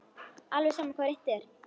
Alveg sama hvað reynt er.